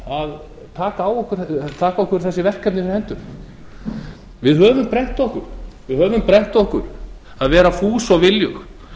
að taka okkur þessi verkefni fyrir hendur við höfum brennt okkur á því að vera fús og viljug